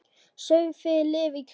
Sáuð þið lið í krísu?